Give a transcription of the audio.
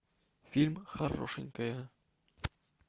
фильм хорошенькая